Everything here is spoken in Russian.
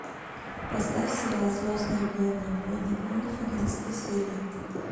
поставь сериал звездные войны войны клонов одиннадцатая серия